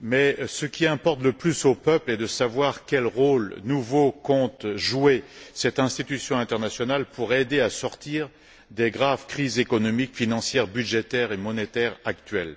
mais ce qui importe le plus aux peuples est de savoir quel rôle nouveau compte jouer cette institution internationale pour aider à sortir des graves crises économiques, financières, budgétaires et monétaires actuelles.